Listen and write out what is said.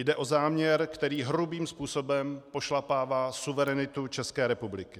Jde o záměr, který hrubým způsobem pošlapává suverenitu České republiky.